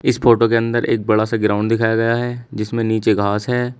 इस फोटो के अंदर एक बड़ा सा ग्राउंड दिखाया गया है जिसमें नीचे घास है।